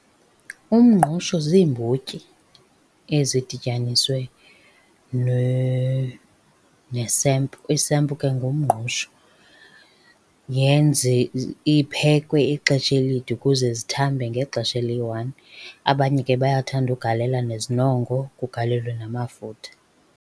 Umngqusho ziimbotyi ezidityaniswe nesempu. Isempu ke ngumngqusho. iphekwe ixesha elide ukuze zithambe ngexesha eliyi-one. Abanye ke bayathanda ugalela nezinongo, kugalelwe namafutha.